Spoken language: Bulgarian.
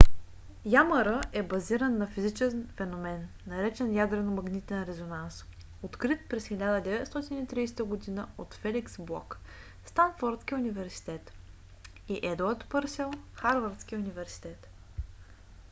ямр е базиран на физичен феномен наречен ядрено-магнитен резонанс открит през 1930 г. от феликс блок станфордски университет и едуард пърсел харвардски университет